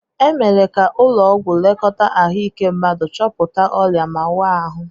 E mere ka ụlọ ọgwụ lekọta ahụike mmadu, chọpụta ọrịa ma waa ahụ.